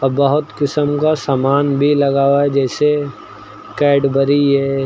और बहुत किस्म का सामान भी लगा हुआ जैसे कैडबरी है।